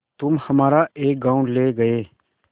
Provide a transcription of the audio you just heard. तुम हमारा एक गॉँव ले गये